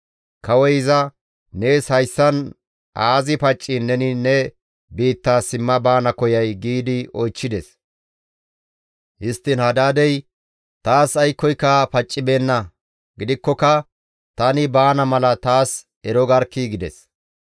Kawoy iza, «Nees hayssan aazi pacciin neni ne biitta simma baana koyay?» giidi oychchides. Histtiin Hadaadey, «Taas aykkoyka paccibeenna; gidikkoka tani baana mala taas ero garkkii!» gides.